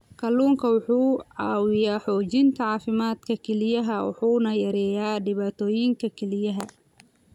Kalluunku wuxuu caawiyaa xoojinta caafimaadka kelyaha wuxuuna yareeyaa dhibaatooyinka kelyaha.